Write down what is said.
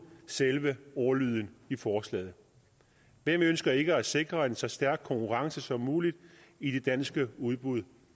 selve ordlyden i forslaget hvem ønsker ikke at sikre en så stærk konkurrence som muligt i de danske udbud